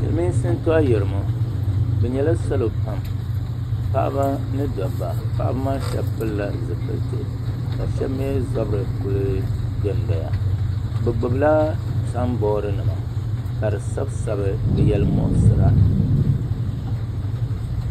Silimiinsi n to ayirimo bi yɛla salo pam paɣaba ni dabba paɣaba maa shɛba pili la zipiliti ka shɛba mi zabiri kuli do n doya bi gbubila samboori nima ka di sabi sabi ni yɛli muɣisira.